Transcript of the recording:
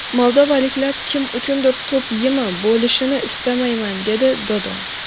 Moldovaliklar kim uchundir to‘p yemi bo‘lishini istamayman”, dedi Dodon.